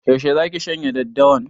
Yaushe zaki shanya daddawan?